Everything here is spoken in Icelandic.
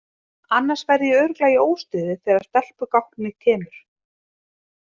Annars verð ég örugglega í óstuði þegar stelpugálknið kemur.